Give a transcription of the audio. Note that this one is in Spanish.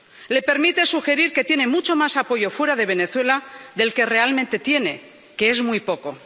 Le permite sugerir que tiene mucho más apoyo fuera de Venezuela del que realmente tiene, que es muy poco.